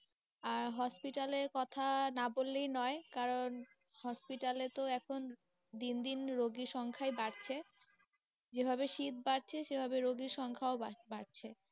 আর hospital এর কথা না বলেই নয়, কারণ hospital তো এখন দিন দিন রোগী সংখ্যাই বাড়ছে, যে ভাবে শীত বাড়ছে সে ভাবে রোগী সংখ্যা ও বাড়ছে।